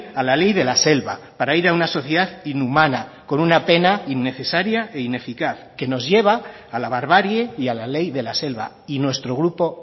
a la ley de la selva para ir a una sociedad inhumana con una pena innecesaria e ineficaz que nos lleva a la barbarie y a la ley de la selva y nuestro grupo